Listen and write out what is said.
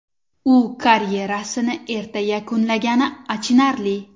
U karyerasini erta yakunlagani achinarli.